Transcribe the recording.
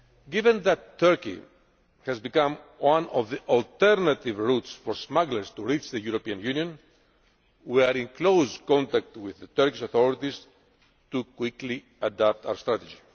Given that Turkey has become one of the alternative routes for smugglers to reach the European Union, we are in close contact with the Turkish authorities to quickly adapt our strategy.